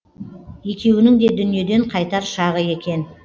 екеуінің де дүниеден қайтар шағы екен